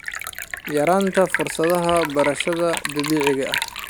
Yaraynta fursadaha beerashada dabiiciga ah.